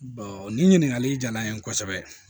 nin ɲininkali jara n ye kosɛbɛ